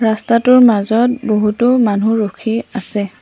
ৰাস্তাটোৰ মাজত বহুতো মানুহ ৰখি আছে।